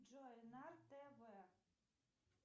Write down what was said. джой на тв